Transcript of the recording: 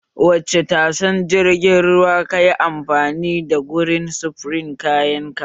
Wacce tashar jirgin ruwa kayi amfani da gurin sufurin kayan ka?